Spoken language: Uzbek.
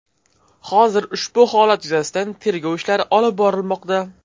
Hozirda ushbu holat yuzasidan tergov ishlari olib borilmoqda.